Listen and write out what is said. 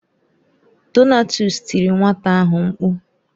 Donatus tiri nwata ahụ mkpu.